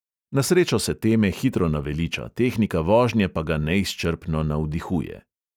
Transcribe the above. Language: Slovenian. Na srečo se teme hitro naveliča, tehnika vožnje pa ga neizčrpno navdihuje.